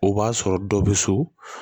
O b'a sɔrɔ dɔ bɛ so